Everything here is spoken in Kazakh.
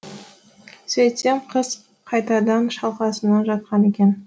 сөйтсем қыз қайтадан шалқасынан жатқан екен